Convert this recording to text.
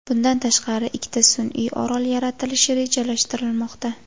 Bundan tashqari, ikkita sun’iy orol yaratilishi rejalashtirilmoqda.